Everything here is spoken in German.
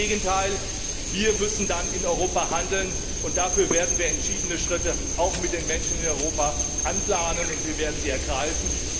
Ganz im Gegenteil Wir müssen in Europa handeln und dafür werden wir entschiedene Schritte auch mit den Menschen in Europa planen und unternehmen.